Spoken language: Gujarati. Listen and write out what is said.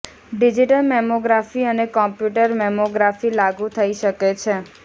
ડિજિટલ મેમોગ્રાફી અને કોમ્પ્યુટર મેમોગ્રાફી લાગુ થઈ શકે છે